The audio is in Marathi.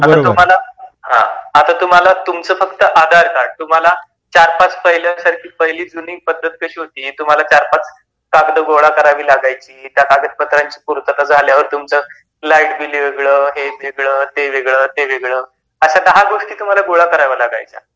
हातर तुम्हाला फ़क्त तुमच आधार कार्ड आता पहिली जूनी पद्धत कशी होती तुम्हाला ४-५ कागद गोळा करावी लागायची त्या कागदपत्रांची पूर्तता झाल्यावर तुमच लाईट बिल वेगळ, हे वेगळ, ते वेगळ, ते वेगळ अशा १० गोष्टी तुम्हाला गोळा कराव्या लागायच्या.